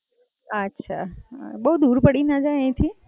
અચ્છા. બઉ દૂર પડી ના જાય અહિયાથી?